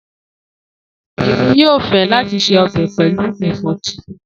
Emi yoo fẹ lati se ọbẹ pẹlu ẹfọ titun.